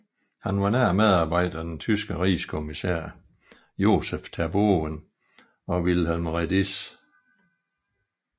Han var nær medarbejder af den tyske rigskommissær Josef Terboven og Wilhelm Rediess